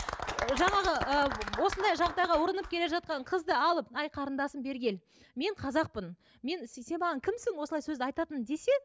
ы жаңағы ы осындай жағдайға ұрынып келе жатқан қызды алып әй қарындасым бері кел мен қазақпын мен сен маған кімсің осылай сөзді айтатын десе